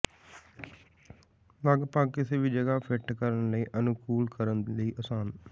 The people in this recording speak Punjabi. ਲਗਭਗ ਕਿਸੇ ਵੀ ਜਗ੍ਹਾ ਫਿੱਟ ਕਰਨ ਲਈ ਅਨੁਕੂਲ ਕਰਨ ਲਈ ਆਸਾਨ